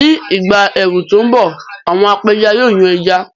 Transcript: Ní ìgbà ẹ̀rùn tó ń bọ̀, àwọn apẹja yóò yan ẹja